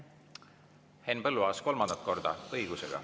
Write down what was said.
Henn Põlluaas kolmandat korda, õigusega.